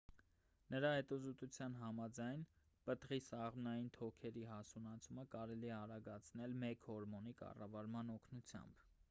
նրա հետազոտության համաձայն պտղի սաղմնային թոքերի հասունացումը կարելի է արագացնել մեկ հորմոնի կառավարման օգնությամբ